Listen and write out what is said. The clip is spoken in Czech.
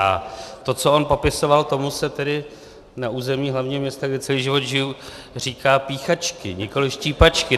A to, co on popisoval, tomu se tedy na území hlavního města, kde celý život žiji, říká píchačky, nikoliv štípačky.